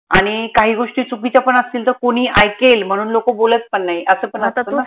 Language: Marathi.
आनि काही गोष्टी चुकीच्या पण असतील त कोनी ऐकेल म्हणून लोक बोलत पन नाई असं पन